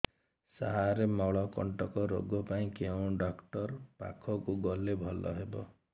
ସାର ମଳକଣ୍ଟକ ରୋଗ ପାଇଁ କେଉଁ ଡକ୍ଟର ପାଖକୁ ଗଲେ ଭଲ ହେବ